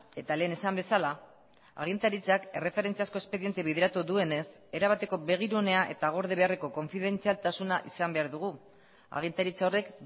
eta lehen esan bezala agintaritzak erreferentziazko espediente bideratu duenez erabateko begirunea eta gorde beharreko konfidentzialtasuna izan behar dugu agintaritza horrek